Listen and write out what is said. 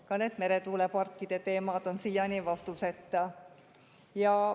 Ka need meretuuleparkide teemad on siiani vastuseta.